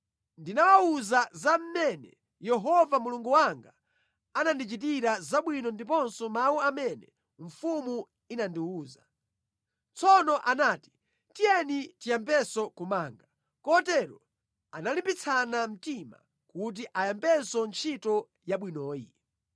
Ndinawawuza za mmene Yehova Mulungu wanga anandichitira zabwino ndiponso mawu amene mfumu inandiwuza. Tsono anati, “Tiyeni tiyambenso kumanga.” Kotero analimbitsana mtima kuti ayambenso ntchito yabwinoyi.